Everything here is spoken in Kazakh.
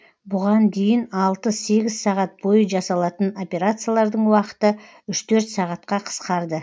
бұған дейін алты сегіз сағат бойы жасалатын операциялардың уақыты үш төрт сағатқа қысқарды